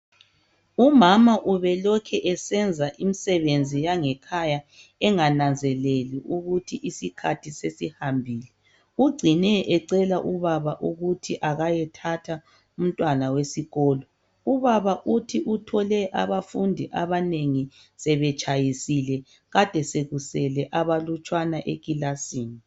Umama ubelokhu esenza imsebenzi yange khaya engananzeleli ukuthi isikhathi sesihambile ucine ecela ubaba ukuthi ayethatha umtwana wesikolo ubaba uthi uthole abafundi abanengi sebetshayisile kade sekusele abafundi abalutshwana ekilasini